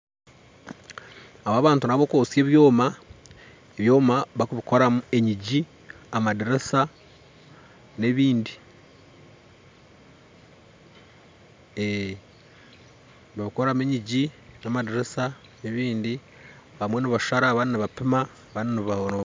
Aba bantu nabokwotsya ebyoma bakubikoramu enyingi, amadiriisa n'ebindi nibakoramu enyingi amadiriisa n'ebindi abamwe nibashara abandi nibampima